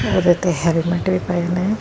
ਉਹਦੇ ਤੇ ਹੈਲਮੇਟ ਵੀ ਪਏ ਨੇ।